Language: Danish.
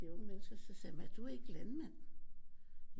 De unge mennesker så sagde jeg er du ikke landmand